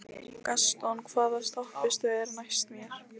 Gaston, hvaða stoppistöð er næst mér?